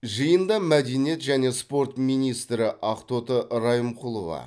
жиында мәдениет және спорт министрі ақтоты райымқұлова